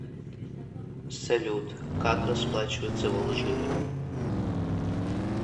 салют как расплачиваться в алжире